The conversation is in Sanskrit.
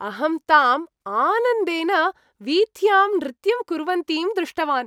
अहं ताम् आनन्देन वीथ्यां नृत्यं कुर्वन्तीं दृष्टवान्।